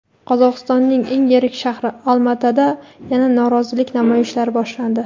Qozog‘istonning eng yirik shahri Olmaotada yana norozilik namoyishlari boshlandi.